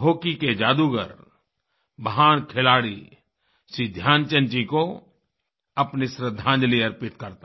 hockey के जादूगर महान खिलाड़ी श्री ध्यानचंद जी को अपनी श्रद्धांजलि अर्पित करता हूँ